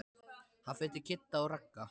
Hann fer til Kidda og Ragga.